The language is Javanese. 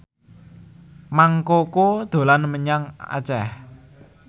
Mang Koko dolan menyang Aceh